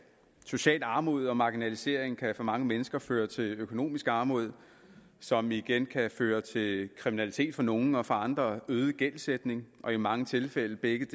social armod og marginalisering kan for mange mennesker føre til økonomisk armod som igen kan føre til kriminalitet for nogle og for andre øget gældsætning i mange tilfælde begge